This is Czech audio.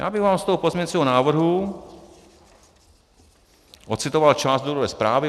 Já bych vám z toho pozměňujícího návrhu ocitoval část důvodové zprávy.